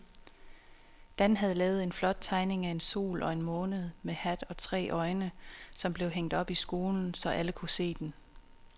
Dan havde lavet en flot tegning af en sol og en måne med hat og tre øjne, som blev hængt op i skolen, så alle kunne se den.